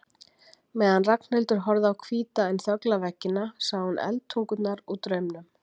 meðan Ragnhildur horfði á hvíta en þögla veggina sá hún eldtungurnar úr draumnum.